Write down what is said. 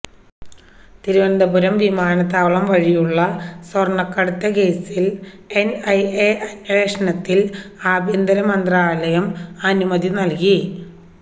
തിരുവനന്തപുരം വിമാനത്താവളം വഴിയുള്ള സ്വര്ണ്ണക്കടത്ത് കേസില് എന്ഐഎ അന്വേഷണത്തിന് ആഭ്യന്തരമന്ത്രാലയം അനുമതി നല്കി